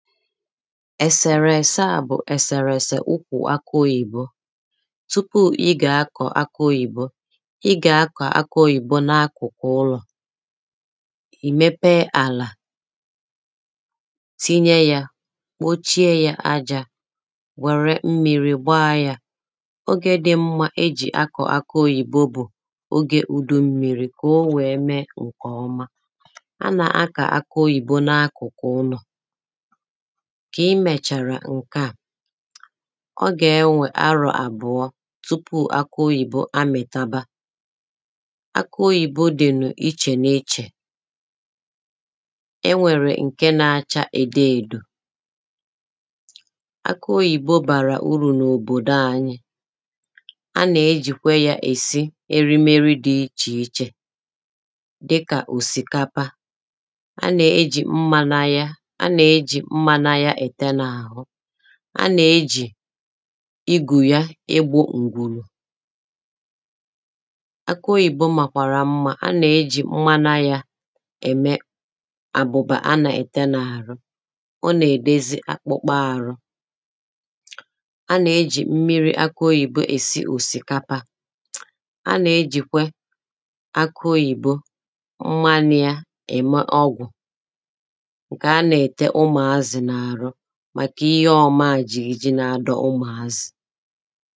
ẹ̀sèrẹ̀ ẹ̀sẹ ȧ bụ̀ ẹ̀sẹ̀rẹ̀ ẹ̀sẹ̀ ụkwụ̇ akụ oyìbo tụpụ ịgà akọ̀ akụ oyìbo ịgà akọ̀ akụ̀ oyìbo n’akụ̀kụ̀ ụlọ̀ ìmepe àlà tinye yȧ kpochie yȧ ajȧ wère mmiri̇ gbaa yȧ ogė dị mmȧ e jì akụ̀ akụ oyìbo bụ̀ ogė udù mmiri̇ kà o wèe mee ǹkè ọma a nà-akà akụ̀ oyìbo n’akụ̀kụ̀ ụnọ̀ ǹkè i mèchàrà ǹke à ọ gà-enwè arọ̀ àbụ̀ọ tupu akụ oyìbo àmìtaba akụ oyìbo dì n’ichè n’ichè e nwèrè ǹke na-acha ède èdò akụ oyìbo bàrà urù n’òbòdò anyi a nà-ejìkwe ya èsi erimeri dị ichè ichè dịkà òsìkapa a nà-ejì mmanȧ ya anà ejì igùya egbȯ ùgwùrù akị oyìbo màkwàrà mmà anà ejì nnwana yȧ ème àbụ̀bà anà ète n’àrụ ọ nà-èdezi akpụkpọ àrụ anà ejì mmiri akị oyìbo èsi òsìkapa anà ejìkwe akị oyìbo nwanȧ ya ème ọgwụ̀ ji̇ iji nà-adọ̇ ụmụ̀ azụ̀